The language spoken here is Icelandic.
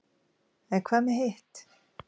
en hvað með hitt